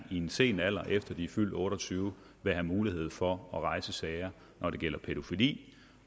i en sen alder efter de er fyldt otte og tyve år vil have mulighed for at rejse sager når det gælder pædofili